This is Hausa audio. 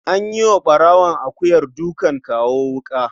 An yi wa ɓarawon akuyar dukan kawo wuƙa.